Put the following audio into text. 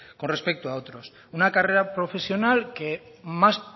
con respecto a otros una carrera profesional que más